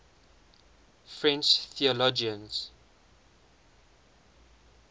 french theologians